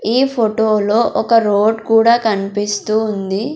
ఈ ఫొటోలో ఒక రోడ్ కూడా కన్పిస్తూ ఉంది.